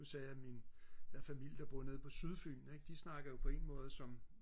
nu sagde jeg min jeg har familie der bor nede på sydfyn ikke de snakker jo på ingen måde som